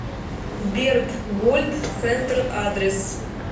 бертгольд центр адрес